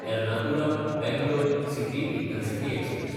एर्नाकुलम–बंगलोर city intercity express